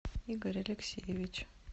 игорь алексеевич